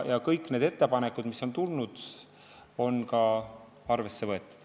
Kõik need ettepanekud, mis on tulnud, on ka arvesse võetud.